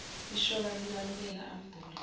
ishoba likanobela ambhule